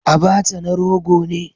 Abacha na rogo ne